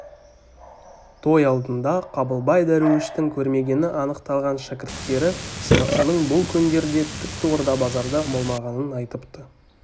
той алдында қабылбай дәруіштің көрмегені анықталған шәкірттері сынықшының бұл күндерде тіпті орда-базарда болмағанын айтыпты